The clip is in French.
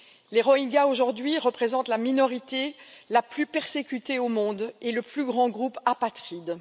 Les Rohingyas, aujourd'hui, représentent la minorité la plus persécutée au monde et le plus grand groupe apatride.